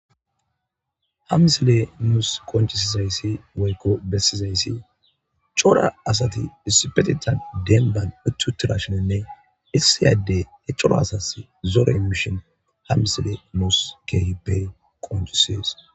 hamsile muus konchisizayssi weykko bessizayssi chora asati dispetitan denban uttutirashoninne issiyadde ecolo asas zoore imishon hamsile mus kehipe konchisees